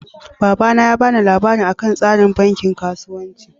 Baba na ya ba ni labarin akan tsafin banki kasuwanci.